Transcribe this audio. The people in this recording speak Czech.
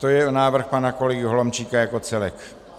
To je návrh pana kolegy Holomčíka jako celek.